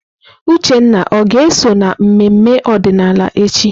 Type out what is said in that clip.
Uchenna ọ ga-eso na mmemme ọdịnala echi?